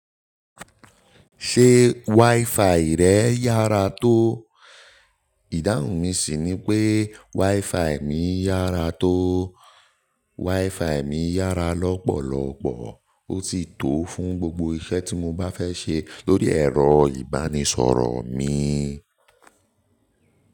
Ṣé WiFi rẹ̀ yára tó? Ìdáhùn mi ṣì ni pé WiFi mi yára tó. WiFi mi yára lọ́pọ̀lọpọ̀, ó sì tò fún gbogbo iṣẹ́ tí mo bá fẹ́ ṣe lórí ẹ̀rọ ìbánisọ̀rọ̀ mi.